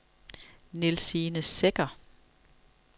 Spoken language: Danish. Nielsine Secher